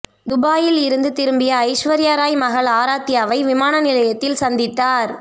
துபாயில் இருந்து திரும்பிய ஐஸ்வர்யா ராய் மகள் ஆராத்யாவை விமான நிலையத்தில் சந்தித்தார்